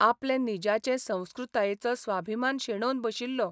आपले निजाचे संस्कृतायेचो स्वाभिमान शेणोवन बशिल्लो.